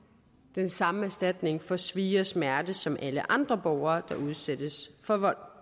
den samme erstatning for svie og smerte som alle andre borgere der udsættes for vold